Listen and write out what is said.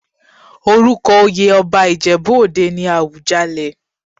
Orúko oyè ọba Ìjẹ̀bú òde ni Àwùjalẹ̀.